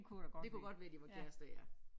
Det kunne godt være de var kærester ja